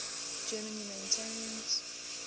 german humanitarians